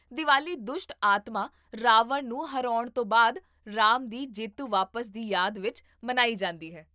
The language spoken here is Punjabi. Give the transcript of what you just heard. ਦੀਵਾਲੀ ਦੁਸ਼ਟ ਆਤਮਾ ਰਾਵਣ ਨੂੰ ਹਰਾਉਣ ਤੋਂ ਬਾਅਦ ਰਾਮ ਦੀ ਜੇਤੂ ਵਾਪਸੀ ਦੀ ਯਾਦ ਵਿੱਚ ਮਨਾਈ ਜਾਂਦੀ ਹੈ